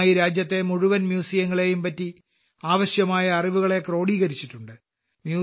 ആദ്യമായി രാജ്യത്തെ മുഴുവൻ മ്യൂസിയങ്ങളെയുംപറ്റി ആവശ്യമായ അറിവുകളെ ക്രോഡീകരിച്ചിട്ടുണ്ട്